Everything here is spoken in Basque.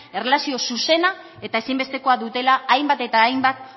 erlazio zuzena eta ezinbestekoa dutela hainbat eta hainbat